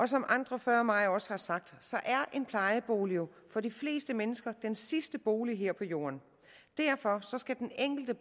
som andre før mig også har sagt er en plejebolig jo for de fleste mennesker den sidste bolig her på jorden derfor skal den enkelte